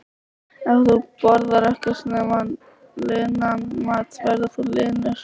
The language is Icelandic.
Ef þú borðar ekkert nema linan mat verður þú linur.